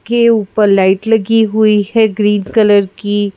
के ऊपर लाइट लगी हुई है ग्रीन कलर की।